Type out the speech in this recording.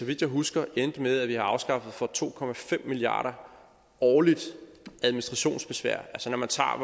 vidt jeg husker endte med at have afskaffet for to milliard kroner årligt i administrationsbesvær når man tager